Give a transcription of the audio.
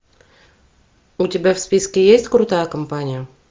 у тебя в списке есть крутая компания